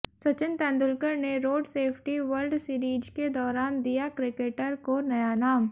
सचिन तेंदुलकर ने road safety world series के दौरान दिया क्रिकेटर को नया नाम